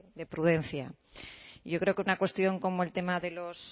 de prudencia yo creo que una cuestión como el tema de los